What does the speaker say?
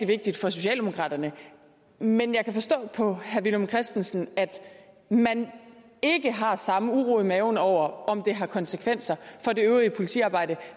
vigtigt for socialdemokraterne men jeg kan forstå på herre villum christensen at man ikke har samme uro i maven over om det har konsekvenser for det øvrige politiarbejde